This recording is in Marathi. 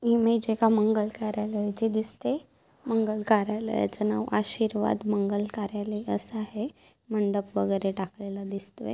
इमेज एका मंगल कार्यालयचे दिसते. मंगल कार्यालयाच नाव आशीर्वाद मंगल कार्यालय असं आहे. मंडप वैगेरे टाकलेला दिसतोय.